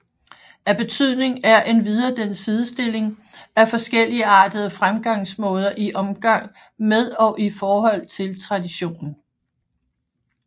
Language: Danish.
Af betydning er endvidere den sidestilling af forskelligartede fremgangsmåder i omgang med og i forhold til traditionen